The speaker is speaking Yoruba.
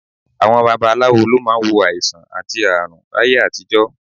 Àwọn babaláwo ló máa ń wo àìsàn àti ààrùn láyé àtijọ́